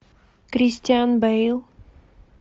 кристиан бейл